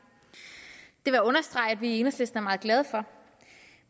vil jeg understrege at vi i enhedslisten er meget glade for